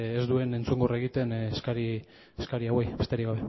ez duen entzungor egiten eskari hauei besterik